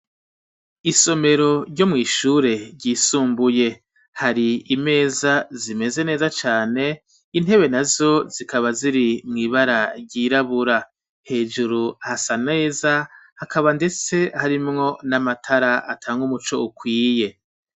Isomero ryo mw'ishure ryisumbuye hari imeza zimeze neza cane intebe na zo zikaba ziri mw'ibara ryirabura hejuru hasa neza hakaba ndetse harimwo n'amatara atanga umuco ukwiye.